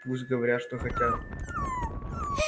пусть говорят что хотят